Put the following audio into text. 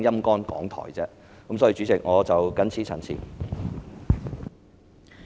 代理主席，我謹此陳辭。